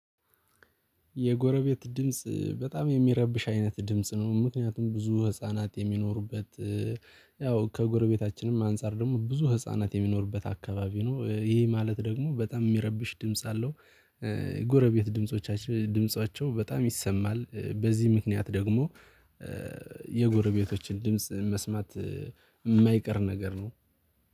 የጎረቤት ድምጽ በጣም የሚረብሽ አይነት ድምጽ ነው። ምክንያቱም ብዙ ህፃናት የሚኖሩበት ያው ከጎረቤታችንም አንፃር ደግሞ ብዙ ህፃናት የሚኖርበት አካባቢ ነው። ይሄ ማለት ደግሞ በጣም የሚረብሽ ድምጽ አለው። ጎረቤት ድምጾቻቸው ድምጾቻቸው በጣም ይሰማል በዚህ ምክንያት ደግሞ የጎረቤቶችን ድምጽ መስማት የማይቀር ነገር ነው